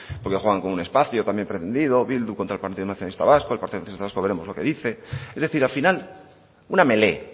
porque juegan con un espacio también pretendido bildu contra el partido nacionalista vasco el partido nacionalista vasco veremos lo que dice es decir al final una melé